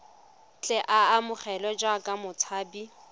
tle a amogelwe jaaka motshabi